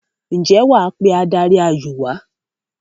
ǹjẹ́ wà á pe adarí-ayò wà á?